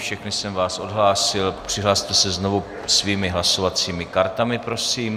Všechny jsem vás odhlásil, přihlaste se znovu svými hlasovacími kartami, prosím.